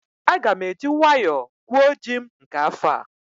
Aga m eji nwayọọ gwuo ji m nke afọ a